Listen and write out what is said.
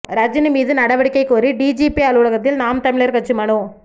ரஜினி மீது நடவடிக்கை கோரி டிஜிபி அலுவலகத்தில் நாம் தமிழர் கட்சி மனு